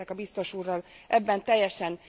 Egyetértek a biztos úrral ebben teljesen.